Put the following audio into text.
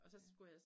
Ja